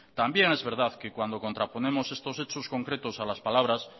también es verdad que cuando contraponemos estos hechos concretos a las palabras